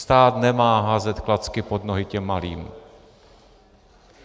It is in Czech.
Stát nemá házet klacky pod nohy těm malým.